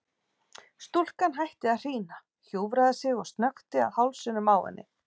Stúlkan hætti að hrína, hjúfraði sig og snökti að hálsinum á henni.